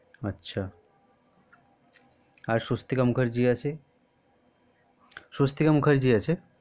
আর স্বস্তিকা মুখার্জি আছে স্বস্তিকা মুখার্জি আছে আচ্ছা